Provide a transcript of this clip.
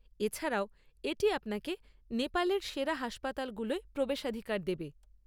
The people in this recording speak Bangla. এছাড়াও, এটি আপনাকে নেপালের সেরা হাসপাতালগুলোয় প্রবেশাধিকার দেবে।